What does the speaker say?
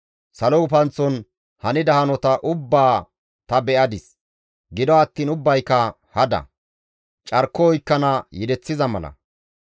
Salo gufanththon hanida hanota ubbaa ta be7adis; gido attiin ubbayka hada; carko oykkana yedeththiza mala.